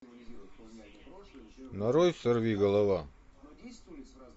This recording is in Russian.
нарой сорвиголова